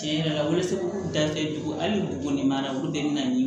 Tiɲɛ yɛrɛ la weleso da tɛ dugu hali buguni mara olu de bɛ na ni